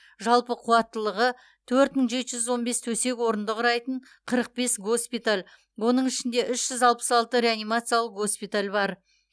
жалпы қуаттылығы төрт мың жеті жүз он бес төсек орынды құрайтын қырық бес госпиталь оның ішінде үш жүз алпыс алты реанимациялық госпиталь бар